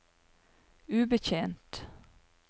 ubetjent